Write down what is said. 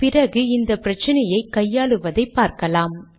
பிறகு இந்த பிரச்சினையை கையாளுவதை பார்க்கலாம்